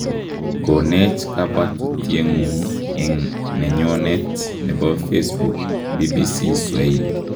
Koneech kabwatutiek ngung en nenyonet nebo Facebook ,bbcswahili.